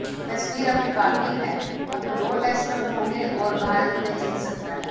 तस्वीर अभी बाकी है अभी दो टेस्ट और होंगे और भारत उन्हें जीत सकता है